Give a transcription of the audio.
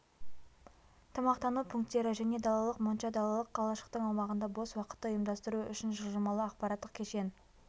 тамақтану пункттері және далалық монша далалық қалашықтың аумағында бос уақытты ұйымдастыру үшін жылжымалы ақпараттық кешен